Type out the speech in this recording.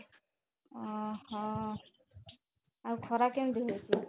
ଅହଃ ଆଉ ଖରା କେମିତି ହଉଛି?